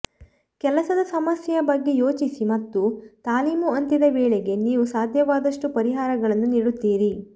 ಕೆಲಸದ ಸಮಸ್ಯೆಯ ಬಗ್ಗೆ ಯೋಚಿಸಿ ಮತ್ತು ತಾಲೀಮು ಅಂತ್ಯದ ವೇಳೆಗೆ ನೀವು ಸಾಧ್ಯವಾದಷ್ಟು ಪರಿಹಾರಗಳನ್ನು ನೀಡುತ್ತೀರಿ